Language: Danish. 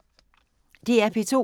DR P2